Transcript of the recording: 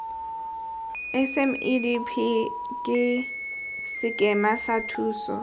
smedp ke sekema sa thuso